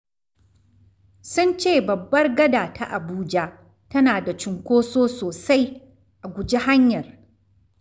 Sun ce babbar gada ta Abuja tana da cunkoso sosai—a guji hanyar.